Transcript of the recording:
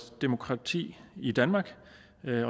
demokrati i danmark